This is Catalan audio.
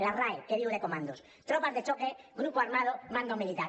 la rae què diu de comandos tropas de choque grupo armado mando militar